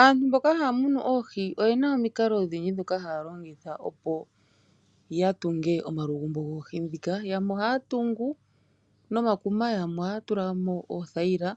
Aantu mboka haamunu ohii, oyena omikalo dhindji dhoka haalongitha opoyatunge omalugumbo gohii dhika. Yamwe ohaatungu nomakuma, yamwe ohaatulamo oothaila